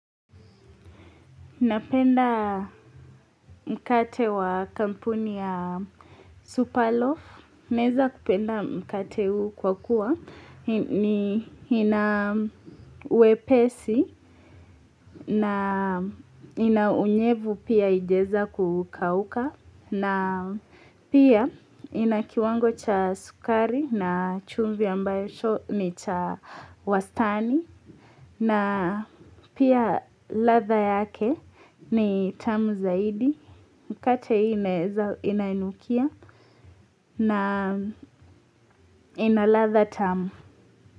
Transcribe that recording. Napenda mkate wa kampuni ya Superloaf. Naeza kupenda mkate huu kwa kuwa ni ina wepesi na ina unyevu pia ijaeza kukauka. Na pia inakiwango cha sukari na chumvi ambacho ni cha wastani. Na pia latha yake ni tamu zaidi mkate hii inanukia na ina latha tamu.